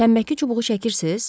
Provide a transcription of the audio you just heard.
Tənbəki çubuğu çəkirsiz?